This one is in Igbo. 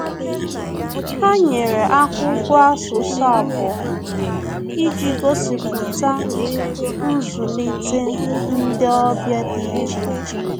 Ha nyere akwụkwọ asụsụ abụọ iji gosipụta nzulite ndị ọbịa dị iche iche